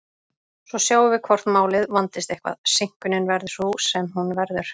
Svo sjáum við hvort málið vandist eitthvað, seinkunin verður sú sem hún verður.